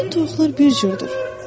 Bütün toyuqlar bir cürdür.